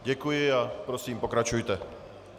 Děkuji a prosím, pokračujte.